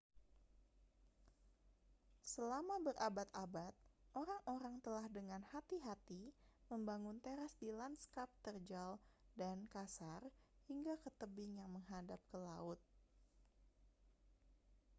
selama berabad-abad orang-orang telah dengan hati-hati membangun teras di lanskap terjal dan kasar hingga ke tebing yang menghadap ke laut